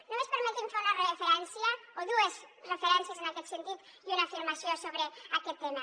només permeti’m fer una referència o dues referències en aquest sentit i una afirmació sobre aquest tema